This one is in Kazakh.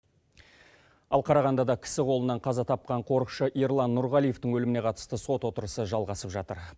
ал қарағандыда кісі қолынан қаза тапқан қорықшы ерлан нұрғалиевтің өліміне қатысты сот отырысы жалғасып жатыр